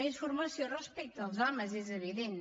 més formació respecte als homes és evident